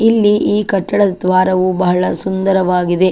ಇಲ್ಲಿ ಈ ಕಟ್ಟಡದ ದ್ವಾರವು ಬಹಳ ಸುಂದರವಾಗಿದೆ.